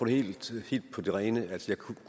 helt på det rene jeg kunne